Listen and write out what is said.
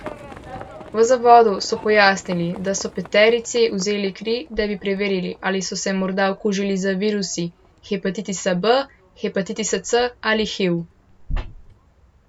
V zavodu so pojasnili, da so peterici vzeli kri, da bi preverili, ali so se morda okužili z virusi hepatitisa B, hepatitisa C ali hiv.